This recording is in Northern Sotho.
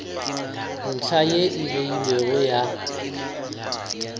ntlha ye e beilwego ya